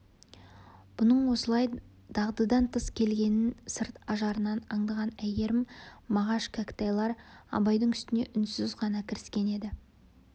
бұның осылай дағдыдан тыс келгенін сырт ажарынан аңдаған әйгерім мағаш кәкітайлар абайдың үстіне үнсіз ғана кіріскен еді